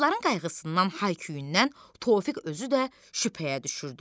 Qızların qayğısından, hay-küyündən Tofiq özü də şübhəyə düşürdü.